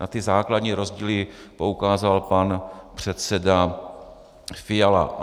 Na ty základní rozdíly poukázal pan předseda Fiala.